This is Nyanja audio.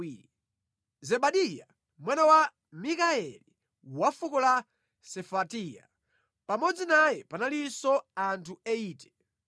Zebadiya, mwana wa Mikayeli wa fuko la Sefatiya. Pamodzi naye panalinso anthu 80.